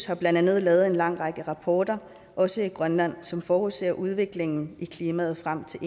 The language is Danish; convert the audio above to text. har blandt andet lavet en lang række rapporter også i grønland som forudser udviklingen i klimaet frem til